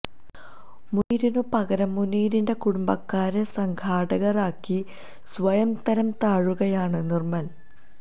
മുനീറിന് പകരം മുനീറിന്റെ കുടുംബക്കാരെ സംഘാടകര് ആക്കി സ്വയം തരാം താഴുകയാണ് നിര്മല്